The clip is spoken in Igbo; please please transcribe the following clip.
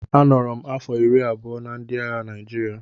A nọrọ m afọ iri abụọ na ndị agha Naịjirịa